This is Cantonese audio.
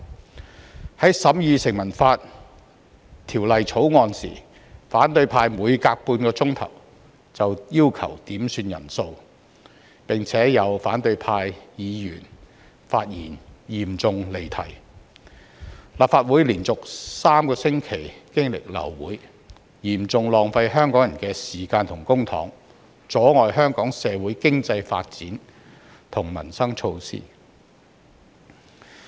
在審議《2019年成文法條例草案》時，反對派每隔半小時便要求點算法定人數，並且有反對派議員發言嚴重離題，以致立法會連續3星期流會，嚴重浪費香港人的時間和公帑，阻礙香港社會經濟發展和民生措施的落實。